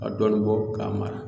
Ka dɔɔnin bɔ k'a mara